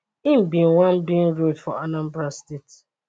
im bin wan bin road for anambra state